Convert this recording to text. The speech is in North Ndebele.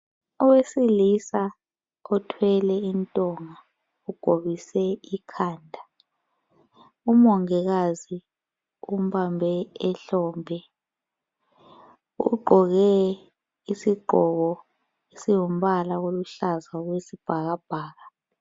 Owesilisa othwele intonga egobise ikhanda, umongikazi umbambe ihlombe ugqoke isigqoko esingumbala oluhlaza okwesi bhakabhaka.